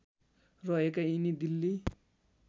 रहेका यिनी दिल्ली